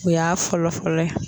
O y'a fɔlɔ fɔlɔ ye